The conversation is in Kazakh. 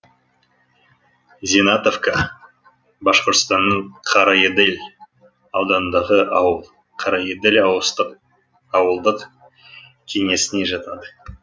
зинатовка башқұртстанның карайыдель ауданындағы ауыл карайыдель ауылдық кеңесіне жатады